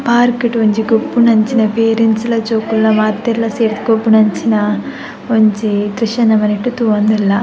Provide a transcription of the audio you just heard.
Park ಡ್ ಒಂಜಿ ಗೊಬ್ಬುನಂಚಿನ ಪೇರೆಂಟ್ಸ್ ಲ ಜೋಕುಲ್ಲ ಮಾತೆರ್ಲ ಸೇರ್ದ್ ಗೊಬ್ಬುನಂಚಿನ ಒಂಜಿ ದ್ರಶ್ಯನ್ ನಮ ನೆಟ್ಟ್ ತೂವೊಂದುಲ್ಲ .